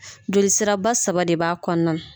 Joli sira ba saba de b'a kɔnɔna na.